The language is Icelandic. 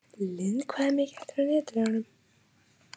Lynd, hvað er mikið eftir af niðurteljaranum?